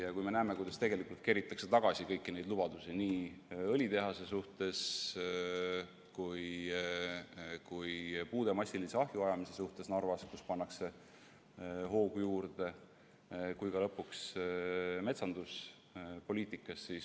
Aga me näeme, kuidas tegelikult keritakse tagasi kõiki neid lubadusi nii õlitehast, Narvas puude massilist ahjuajamist, kus pannakse hoogu juurde, kui ka metsanduspoliitikas.